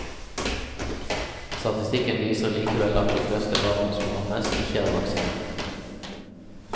Statistikken viser likevel at de fleste barna som rammes, ikke er vaksinert.